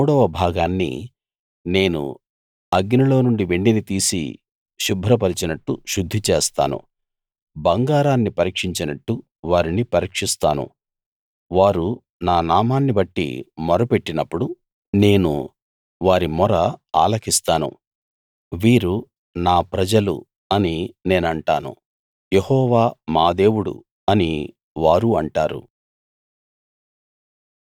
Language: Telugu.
ఆ మూడవ భాగాన్ని నేను అగ్నిలో నుండి వెండిని తీసి శుభ్రపరచినట్టు శుద్ధి చేస్తాను బంగారాన్ని పరీక్షించినట్టు వారిని పరీక్షిస్తాను వారు నా నామాన్నిబట్టి మొరపెట్టినప్పుడు నేను వారి మొర ఆలకిస్తాను వీరు నా ప్రజలు అని నేనంటాను యెహోవా మా దేవుడు అని వారు అంటారు